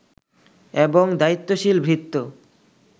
এবং দায়িত্বশীল ভৃত্য